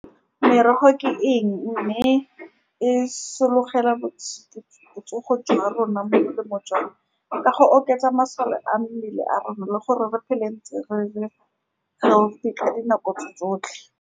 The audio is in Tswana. Merogo ke eng, mme e sologela botsogo jwa rona molemo jang, ka go oketsa masole a mmele a rona le gore re phele ntse re le healthy ka dinako tse tsotlhe.